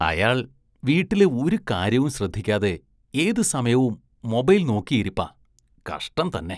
അയാള്‍ വീട്ടിലെ ഒരു കാര്യവും ശ്രദ്ധിക്കാതെ ഏത് സമയവും മൊബൈല്‍ നോക്കിയിരിപ്പാ, കഷ്ടം തന്നെ.